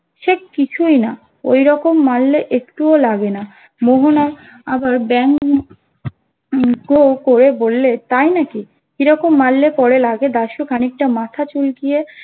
সে কিছুই না ওরকম মারলে একটুও লাগে না মোহন আবার ব্যাঙ্গ করে বললে তাইনাকি কি রকম মারলে পরে লাগে দাশু খানিকটা মাথা চুলকিয়ে